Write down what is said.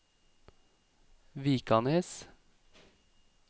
Vikanes